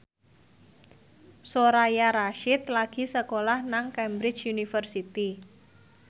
Soraya Rasyid lagi sekolah nang Cambridge University